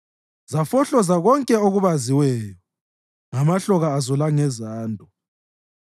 Zafohloza konke okubaziweyo ngamahloka azo langezando.